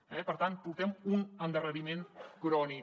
eh per tant portem un endarreriment crònic